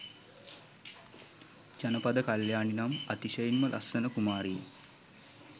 ජනපද කල්‍යාණී නම් අතිශයින්ම ලස්සන කුමාරිය